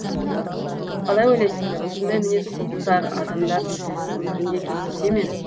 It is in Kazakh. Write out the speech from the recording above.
қалай ойлайсыңдар осындай мінез құлықтар адамдар өмірінде кездесе ме